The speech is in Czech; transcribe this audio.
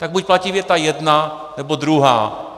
Tak buď platí věta jedna, nebo druhá.